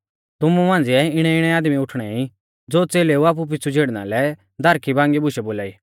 तुमु मांझ़िऐ भी इणैइणै आदमी उठाणै ई ज़ो च़ेलेऊ आपु पिछ़ु झीड़ना लै दारखीबांगी बुशै बोलाई